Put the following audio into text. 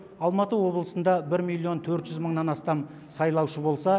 алматы облысында бір миллион төрт жүз мыңнан астам сайлаушы болса